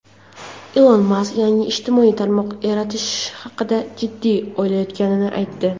Ilon Mask yangi ijtimoiy tarmoq yaratish haqida jiddiy o‘ylayotganini aytdi.